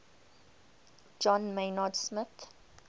john maynard smith